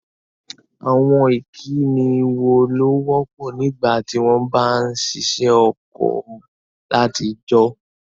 Àwon ìkíni wo ló wọ́pọ̀ nígbàtí won ba n sisẹ́ oko látijọ́?